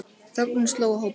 Þögn sló á hópinn.